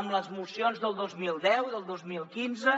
amb les mocions del dos mil deu del dos mil quinze